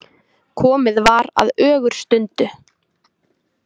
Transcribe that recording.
Komið var að ögurstundu.